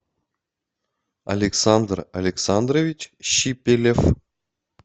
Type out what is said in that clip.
александр александрович щипелев